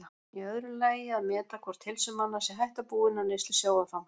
Í öðru lagi að meta hvort heilsu manna sé hætta búin af neyslu sjávarfangs.